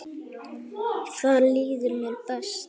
Þar líður mér best.